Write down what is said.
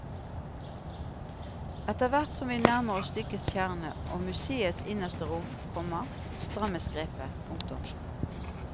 Etterhvert som vi nærmer oss stykkets kjerne og museets innerste rom, komma strammes grepet. punktum